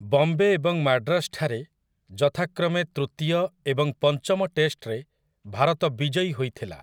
ବମ୍ବେ ଏବଂ ମାଡ୍ରାସଠାରେ ଯଥାକ୍ରମେ ତୃତୀୟ ଏବଂ ପଞ୍ଚମ ଟେଷ୍ଟରେ ଭାରତ ବିଜୟୀ ହୋଇଥିଲା ।